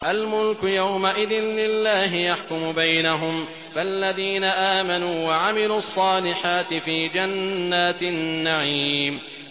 الْمُلْكُ يَوْمَئِذٍ لِّلَّهِ يَحْكُمُ بَيْنَهُمْ ۚ فَالَّذِينَ آمَنُوا وَعَمِلُوا الصَّالِحَاتِ فِي جَنَّاتِ النَّعِيمِ